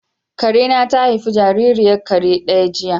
Karena ta haifi jaririyar kare daya jiya?